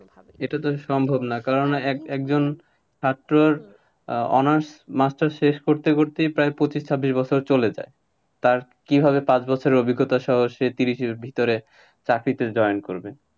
এটা তো সম্ভব না, কারণ এক~ একজন ছাত্রর honours, masters শেষ করতে করতেই প্রায় পঁচিশ ছাব্বিশ বছর চলে যায়। তার কিভাবে পাঁচ বছরের অভিজ্ঞতা সহ সে তিরিশের ভিতরে চাকরিতে join করবে।